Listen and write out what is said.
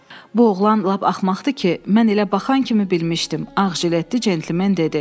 Bu oğlan lap axmaqdır ki, mən elə baxan kimi bilmişdim, ağ jiletdə cəntlmen dedi.